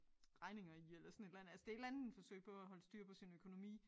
Regner i eller sådan et eller andet altså det et eller andet forsøg på at holde styr på sin økonomi